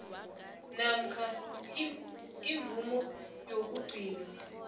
namkha imvumo yokugcinwa